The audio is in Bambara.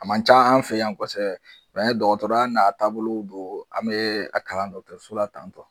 A man ca an fɛ yan dɔkɔtɔrɔya n'a taabolo don, an be a kalan dɔkɔtɔrɛsola tan tɔ